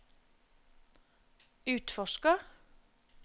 utforsker